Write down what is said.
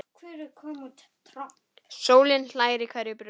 Sólin hlær í hverju blómi.